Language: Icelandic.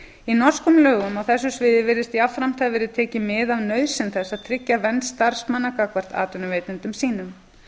í norskum lögum á þessu sviði virðist jafnframt hafa verið tekið mið af nauðsyn þess að tryggja vernd starfsmanna gagnvart atvinnuveitendum sínum